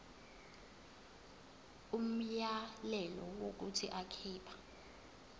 umyalelo wokuthi akhipha